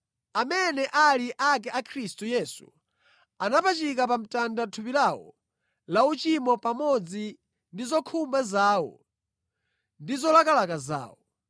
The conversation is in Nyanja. Amene ali ake a Khristu Yesu anapachika pa mtanda thupi lawo la uchimo pamodzi ndi zokhumba zawo ndi zolakalaka zawo.